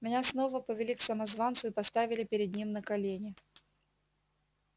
меня снова повели к самозванцу и поставили перед ним на колени